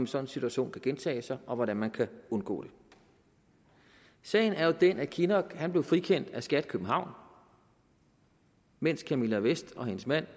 sådan situation kan gentage sig og hvordan man kan undgå det sagen er jo den at kinnock blev frikendt af skat københavn mens camilla vest og hendes mand